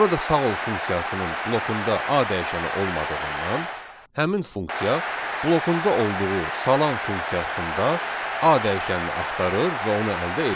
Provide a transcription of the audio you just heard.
Burada sağ ol funksiyasının blokunda A dəyişəni olmadığından həmin funksiya blokunda olduğu salam funksiyasında A dəyişənini axtarır və onu əldə edir.